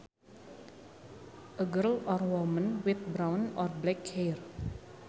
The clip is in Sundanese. A girl or woman with brown or black hair